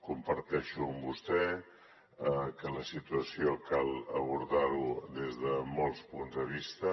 comparteixo amb vostè que la situació cal abordarla des de molts punts de vista